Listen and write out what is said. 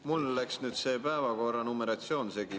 Mul läks see päevakorra numeratsioon segi.